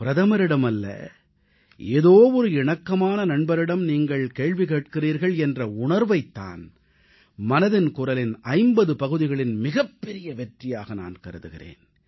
பிரதமரிடம் அல்ல ஏதோ ஒரு இணக்கமான நண்பரிடம் நீங்கள் கேள்வி கேட்கிறீர்கள் என்ற உணர்வைத் தான் மனதின் குரலின் 50 பகுதிகளின் மிகப்பெரிய வெற்றியாக நான் கருதுகிறேன்